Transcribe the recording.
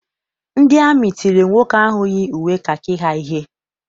Ndị amị tiri nwoke ahụ yi uwe kakị ha ihe.